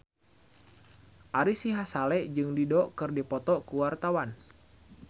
Ari Sihasale jeung Dido keur dipoto ku wartawan